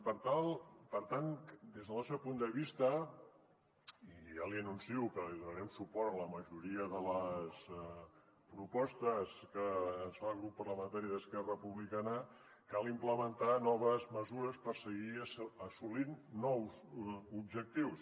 per tant des del nostre punt de vista i ja li anuncio que donarem suport a la majoria de les propostes que ens fa el grup parlamentari d’esquerra republicana cal implementar noves mesures per seguir assolint nous objectius